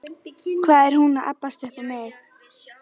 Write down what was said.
Hvað er hún þá að abbast upp á mig?